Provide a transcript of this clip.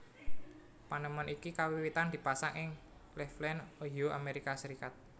Panemon iki kawiwitan dipasang ing Claveland Ohio Amerika Serikat